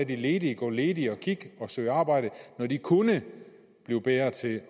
de ledige gå ledig og søge arbejde når de kunne blive bedre til